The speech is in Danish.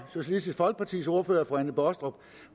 socialistisk folkepartis ordfører fru anne baastrup